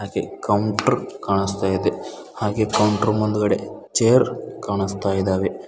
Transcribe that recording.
ಹಾಗೆ ಕೌಂಟರ್ ಕಾಣಿಸ್ತ ಇದೆ ಹಾಗೆ ಕೌಂಟರ್ ಮುಂದುಗಡೆ ಚೇರ್ ಕಾಣಿಸ್ತಾ ಇದಾವೆ.